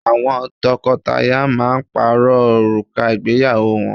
Àwọn tọkọtaya máa ń pààrọ̀ òrùka ìgbéyàwó wọn